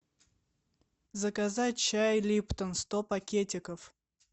заказать чай липтон сто пакетиков